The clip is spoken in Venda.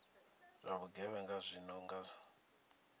zwa vhugevhenga zwi no nga